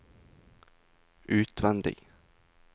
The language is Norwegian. utvendig